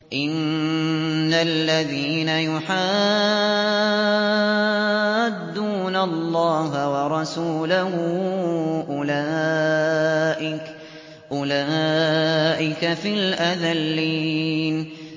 إِنَّ الَّذِينَ يُحَادُّونَ اللَّهَ وَرَسُولَهُ أُولَٰئِكَ فِي الْأَذَلِّينَ